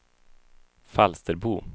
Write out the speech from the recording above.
Falsterbo